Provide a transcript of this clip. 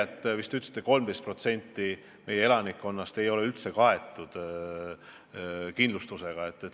Te vist ütlesite, et 13% meie elanikkonnast ei ole üldse kaetud kindlustusega.